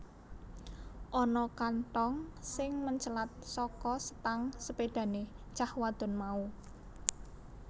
Ana kanthong sing mencelat saka setang sepédhahé cah wadon mau